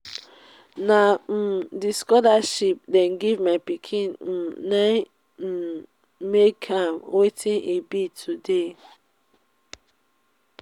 na um the scholarship dey give my pikin um na im make am wetin e be today